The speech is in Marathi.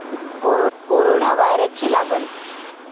कोरोना व्हायरसची लागण